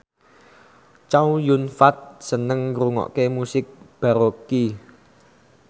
Chow Yun Fat seneng ngrungokne musik baroque